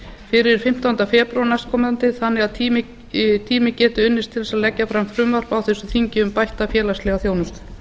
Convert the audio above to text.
fyrir fimmtánda febrúar næstkomandi þannig að tími geti unnist til þess að leggja fram frumvarp á þessu þingi um bætta félagslega þjónustu